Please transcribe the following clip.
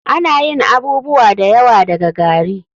Ana yin abubuwa da yawa daga gari.